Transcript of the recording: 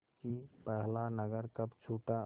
कि पहला नगर कब छूटा